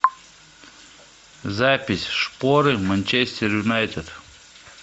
запись шпоры манчестер юнайтед